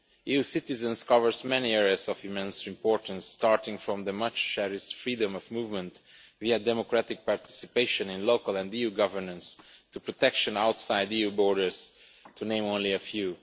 EU citizens' covers many areas of immense importance, starting from the much cherished freedom of movement, via democratic participation in local and EU governance, to protection outside EU borders, to name only a few.